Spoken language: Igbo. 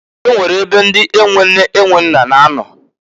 E nwere ebe ndi e nwe nne e nwe nna na-anọ.